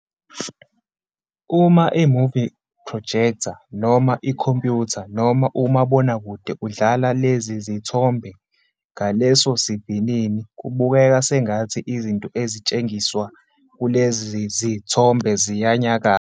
Uma "imovie projector", noma ikhompyutha, noma umabonakude udlala lezizithombe ngalesosivinini, kubukeka sengathi izinto ezitshengiswa kulezizithombe ziyanyakaza.